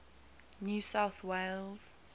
new south wales